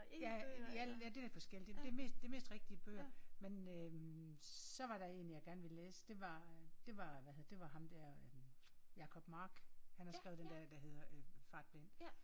Ja jeg det lidt forskelligt. Det mest det mest rigtige bøger. Men øh så var der en jeg gerne ville læse det var det var det var ham der hvad hedder det ham der øh Jabob Mark han har skrevet den der der hedder øh Fartblind